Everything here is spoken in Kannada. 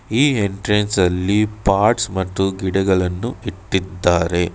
ಈ ಎಂಟ್ರೆನ್ಸ್ ನಲ್ಲಿ ಪಾಟ್ ಮತ್ತು ಗಿಡಗಳನ್ನು ಇಟ್ಟಿದ್ದಾರೆ.